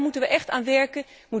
Daar moeten we echt aan werken.